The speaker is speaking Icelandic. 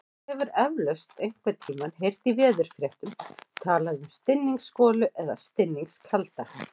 Þú hefur eflaust einhvern tímann heyrt í veðurfréttum talað um stinningsgolu eða stinningskalda.